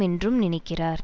என்றும் நினைக்கிறார்